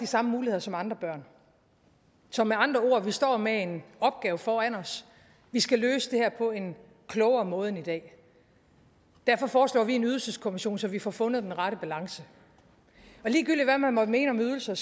samme muligheder som andre børn så med andre ord står vi med en opgave foran os vi skal løse det her på en klogere måde end i dag derfor foreslår vi en ydelseskommission så vi får fundet den rette balance og ligegyldigt hvad man måtte mene om ydelser